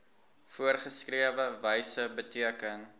voorgeskrewe wyse beteken